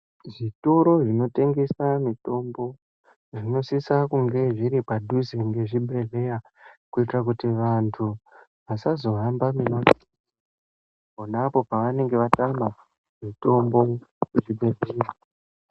Zvitoro zvinotengesa mitombo zveshe zvinosisa kunge zviri padhuze mezvibhedhlera kudetsera antu kuti asazohamba pona apo panenge atama mitombo yemuzvibhedhlera.